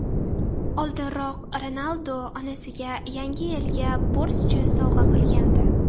Oldinroq Ronaldu onasiga Yangi yilga Porsche sovg‘a qilgandi .